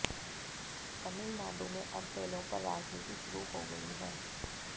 तमिलनाडु में अब बैलों पर राजनीति शुरू हो गई है